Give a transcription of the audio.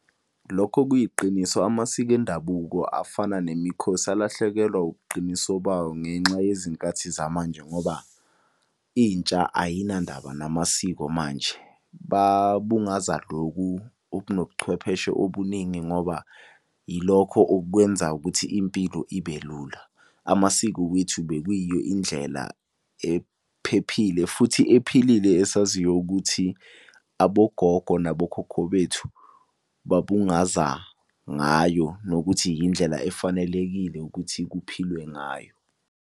Lokho kuyiqiniso amasiko endabuko afana nemikhosi alahlekelwa ubuqiniso bawo ngenxa yezinkathi zamanje ngoba intsha ayinandaba namasiko manje. Babungaza loku okunobuchwepheshe obuningi ngoba yilokho okwenza ukuthi impilo ibe lula. Amasiko wethu bekuyiyo indlela ephephile futhi ephilile esaziyo ukuthi, abogogo nabokhokho bethu babungaza ngayo, nokuthi yindlela efanelekile ukuthi kuphilwe ngayo.